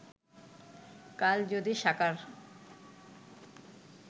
কাল যদি সাকার